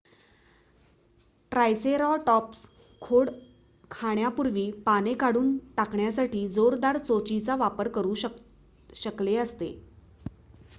triceratops खोड खाण्यापूर्वी पाने काढून टाकण्यासाठी जोरदार चोचीचा वापर करू शकले असते